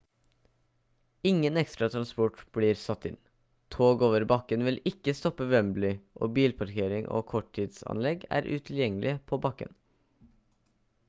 ingen ekstra transport blir satt inn tog over bakken vil ikke stoppe ved wembley og bilparkering og korttidsanlegg er utilgjengelige på bakken